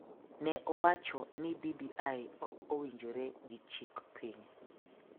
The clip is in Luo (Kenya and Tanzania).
ne owacho ni BBI ok owinjore gi chik piny,